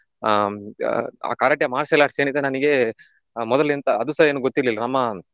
ಹ್ಮ್ಆಹ್ ಆ Karate martial arts ಏನಿದೆ ನನಿಗೆ ಮೊದಲಿಂದ ಅದುಸ ಏನು ಗೊತಿರ್ಲಿಲ್ಲ ನಮ್ಮ